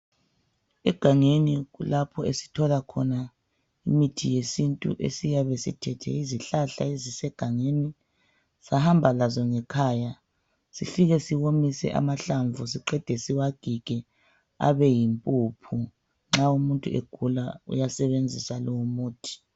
Egangeni yikho lapho esithola khona imithi yesintu esiyabe sithethe izihlahla ezise gangeni sahamba lazo ngekhaya sifike siwomise amahlamvu sifike siwagige abeyimpuphu nxa umuntu egula abesebenzisa loyomuthi.